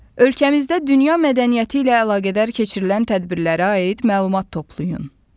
Ölkəmizdə dünya mədəniyyəti ilə əlaqədar keçirilən tədbirlərə aid məlumat toplayın.